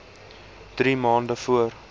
drie maande voor